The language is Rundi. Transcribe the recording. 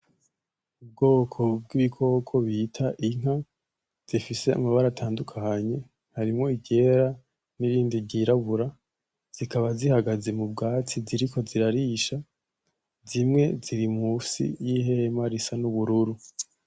Ubwoko bw'ibikoko bita inka zifise amabara atandukanye harimwo iryera n'irindi ryirabura zikaba zihagaze mu bwatsi ziriko zirarisha, zimwe ziri musi y'ihema risa n'ubururu.